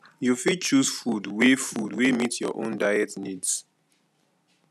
you fit choose food wey food wey meet your own diet needs